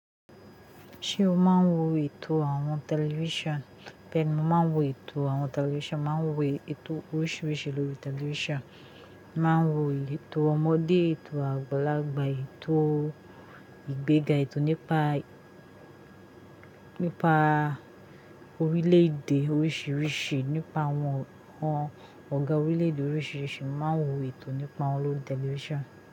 Ṣé o máa ń wo ètò àwọn tẹlifíṣàn? Bẹ́ẹ̀ni, mo máa ń wo ètò àwọn tẹlifíṣàn, màá ń wo ètò oríṣiríṣi lórí tẹlifíṣàn. Màá ń wo ètò ọmọdé, ètò àgbàlagbà, ètò ìgbéga, ètò nípa, nípa orílẹ̀-èdè oríṣiríṣi, nípa àwọn ọ̀gá orílẹ̀-èdè oríṣiríṣi, màá ń wo ètò nípa wọ́n lórí tẹlifíṣàn.